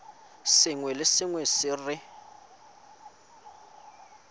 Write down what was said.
sengwe le sengwe se re